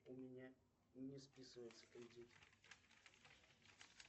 у меня не списывается кредит